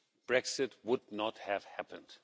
Brexit would not have happened.